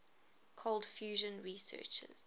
cold fusion researchers